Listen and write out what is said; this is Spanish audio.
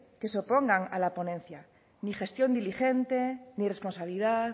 que se opongan a la ponencia ni gestión diligente ni responsabilidad